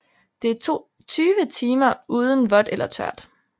Det er 20 timer uden vådt eller tørt